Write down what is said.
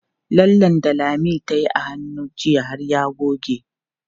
Lallen da Lami tayi a hannu jiya har ya goge.